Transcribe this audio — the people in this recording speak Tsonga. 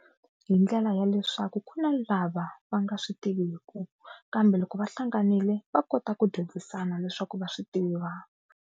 Hi ndlela ya leswaku ku na lava va nga swi tiviku kambe loko va hlanganile va kota ku dyondzisana leswaku va swi tiva.